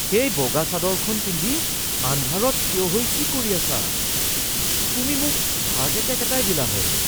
সেই বগা চাদৰখন পিন্ধি আন্ধাৰত থিয় হৈ কি কৰি আছা? তুমি মোক হাৰ্ট এটেক এটাই দিলা হয়।